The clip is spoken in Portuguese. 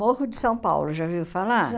Morro de São Paulo, já ouviu falar? Já